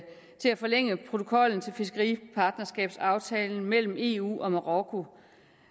forlænge protokollen til fiskeripartnerskabsaftalen mellem eu og marokko